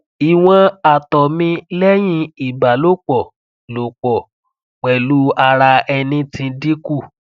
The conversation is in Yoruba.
iwọn àtọ̀ mi lẹ́yìn ibalopọ̀ lopọ̀ pẹ̀lu ara ẹni ti dinku